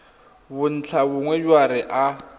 re bontlhabongwe jwa re a